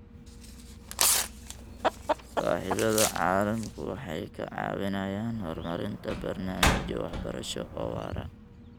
Saaxiibada caalamku waxay ka caawinayaan horumarinta barnaamijyo waxbarasho oo waara.